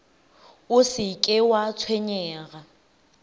o se ke wa tshwenyega